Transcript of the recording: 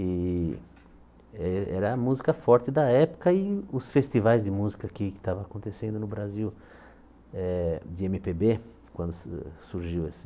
E eh era a música forte da época e os festivais de música aqui que estavam acontecendo no Brasil eh de êMe Pê Bê, quando su surgiu esse...